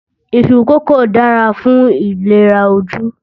Iṣu kókò dára fún ìlera ojú